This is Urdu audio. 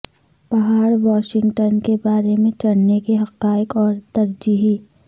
پہاڑ واشنگٹن کے بارے میں چڑھنے کے حقائق اور ترجیحی